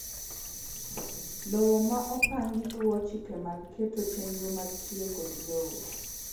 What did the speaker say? Lowo ma opangi luwo chike mag keto chenro mar tiyo kod lowo